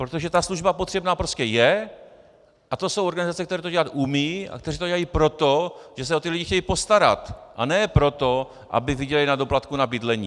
Protože ta služba potřebná prostě je a to jsou organizace, které to dělat umějí a které to dělají proto, že se o ty lidi chtějí postarat, a ne proto, aby vydělaly na doplatku na bydlení.